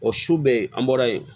O su bɛɛ an bɔra yen